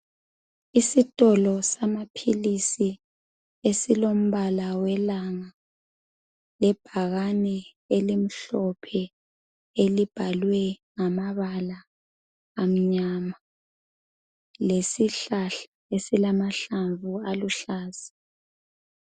Isitolo samaphilisi esilombala welanga lebhakani elimhlophe elibhalwe ngamabala amnyama lesihlahla esilamahlamvu aluhlaza.